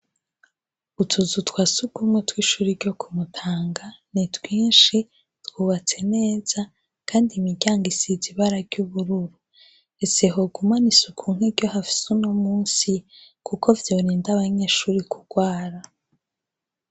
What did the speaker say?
Utuzu twasugumwe tw' ishure ryo ku mutanga, ni twinshi twubatse neza kandi imiryang' isiz' ibara ry' ubururu, ese hoguman' isuku nkiryo hafis' uyumunsi kuko vyorind' abanyeshure kugwara.